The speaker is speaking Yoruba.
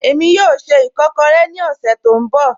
Ẹ̀mi yóò ṣẹ́ ìkọ̀kọ̀rẹ̀ ni ọ̀ṣẹ̀ tó nbọ̀